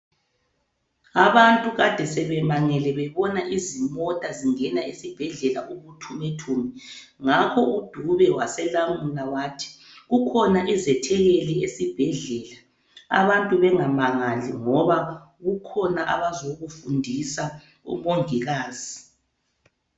Abantu kade sebemangele bebona izimota zingena esibhedlela ubuthumethume, ngakho uDube waselamula wathi kukhona izethekeli esibhedlela abantu bengamangali ngoba kukhona abazokufundisa omongikazi.